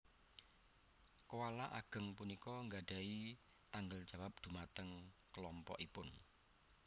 Koala ageng punika nggadhahi tanggel jawab dhumateng klompokipun